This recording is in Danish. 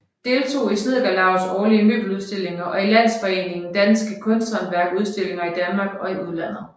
Deltog i Snedkerlaugets årlige møbeludstillinger og i Landsforeningen Dansk Kunsthåndværk udstillinger i Danmark og i udlandet